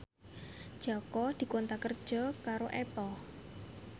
Jaka dikontrak kerja karo Apple